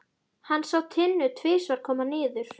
Hann sá Tinnu tvisvar koma niður.